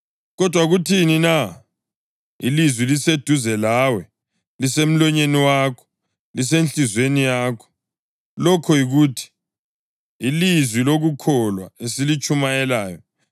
Kodwa kuthini na? “Ilizwi liseduze lawe, lisemlonyeni wakho lasenhliziyweni yakho,” + 10.8 UDutheronomi 30.14 lokho yikuthi, ilizwi lokukholwa esilitshumayelayo: